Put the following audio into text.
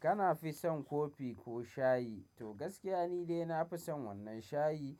Kana fi son kofi ko shayi? To gaskiya ni dai nafi son wannan shayi.